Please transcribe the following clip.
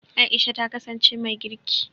Aisha ta kasance mai girki.